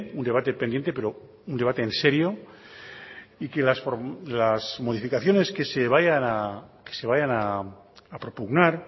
un debate pendiente pero un debate en serio y que las modificaciones que se vayan a propugnar